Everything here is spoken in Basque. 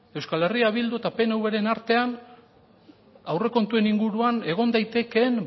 euskal herria bildu eta pnv ren artean aurrekontuen inguruan egon daitekeen